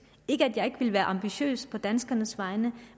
ikke at jeg ikke vil være ambitiøs på danskernes vegne